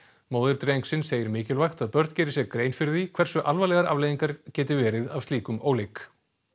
móðir drengsins segir mikilvægt að börn geri sér grein fyrir því hversu alvarlegar afleiðingar geta verið af slíkum óleik